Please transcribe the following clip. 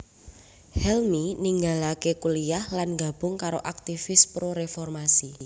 Helmy ninggalaké kuliyah lan nggabung karo aktivis pro reformasi